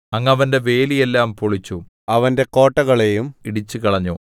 അങ്ങ് അവന്റെ വേലി എല്ലാം പൊളിച്ചു അവന്റെ കോട്ടകളെയും ഇടിച്ചുകളഞ്ഞു